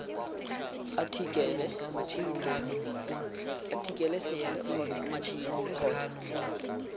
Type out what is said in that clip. athikele sere kgotsa matšhini kgotsa